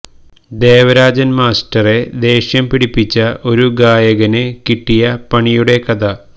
ദേവരാജൻ മാസ്റ്ററെ ദേഷ്യം പിടിപ്പിച്ച ഒരു ഗായകന് കിട്ടിയ പണിയുടെ കഥ